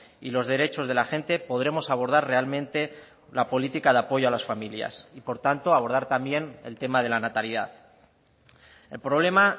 y los derechos de la gente podremos abordar realmente la política de apoyo a las familias y por lo tanto abordar también el tema de la natalidad el problema